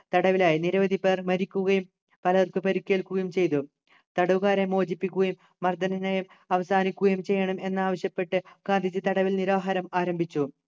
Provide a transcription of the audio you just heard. തടവിലായി നിരവധി പേർ മരിക്കുകയും പലർക്കും പരിക്കേൽക്കുകയും ചെയ്തു തടവുകാരെ മോചിപ്പിക്കുകയും മർദ്ദന നയം അവസാനിക്കുകയും ചെയ്യണം എന്ന് ആവശ്യപ്പെട്ട് ഗാന്ധിജി തടവിൽ നിരാഹാരം ആരംഭിച്ചു